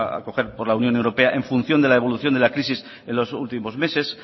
a acoger por la unión europea en función de la evolución de la crisis en los últimos meses